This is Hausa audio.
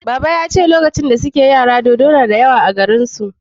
Baba ya ce lokacin da suke yara dodo na da yawa a garin su